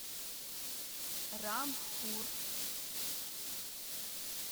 рангпур